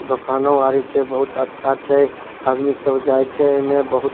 दोकानों आरी छै बहुत अच्छा छै आदमी सब जाय छै एमे बहुत।